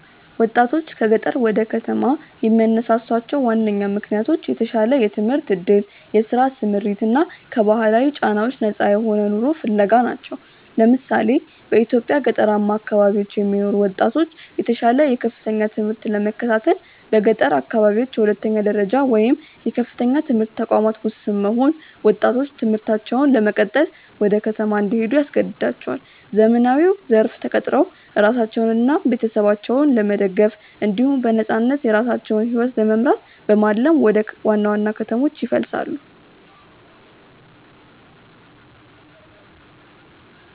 ወጣቶችን ከገጠር ወደ ከተማ የሚያነሳሷቸው ዋነኛ ምክንያቶች የተሻለ የትምህርት ዕድል፣ የሥራ ስምሪት እና ከባህላዊ ጫናዎች ነፃ የሆነ ኑሮ ፍለጋ ናቸው። ለምሳሌ፣ በኢትዮጵያ ገጠራማ አካባቢዎች የሚኖሩ ወጣቶች የተሻለ የከፍተኛ ትምህርት ለመከታተል በገጠር አካባቢዎች የሁለተኛ ደረጃ ወይም የከፍተኛ ትምህርት ተቋማት ውስን መሆን ወጣቶች ትምህርታቸውን ለመቀጠል ወደ ከተማ እንዲሄዱ ያስገድዳቸዋል። ዘመናዊው ዘርፍ ተቀጥረው ራሳቸውንና ቤተሰባቸውን ለመደገፍ እንዲሁም በነፃነት የራሳቸውን ሕይወት ለመምራት በማለም ወደ ዋና ዋና ከተሞች ይፈልሳሉ።